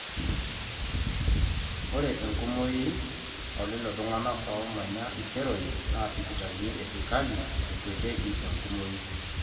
ore enkumoi oolelo tung'anak oomanya iseroi naa sipitalini esirkali ekuetiki enkumoi